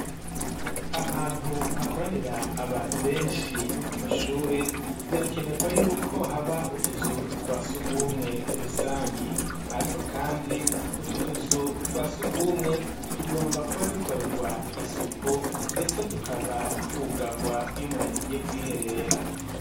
Ahantu hakoranira abantu benshi, nko ku mashure, birakenerwa y'uko haba utuzu twa surwumwe rusangi, ariko kandi utwo tuzu twa surwumwe, tugomba kuba dukorerwa isuku, ndetse tukaba twugarwa iyo umuntu agiye kwiherera.